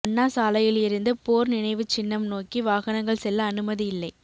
அண்ணா சாலையில் இருந்து போர் நினைவுச் சின்னம் நோக்கி வாகனங்கள் செல்ல அனுமதி இல்லை